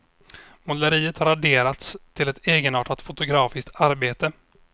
Måleriet har adderats till ett egenartat fotografiskt arbete.